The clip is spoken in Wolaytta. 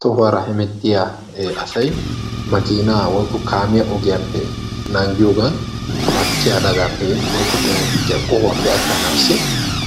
Tohuwara hemettiya asay ogiyan naagiddi ushshachcha bagan woykko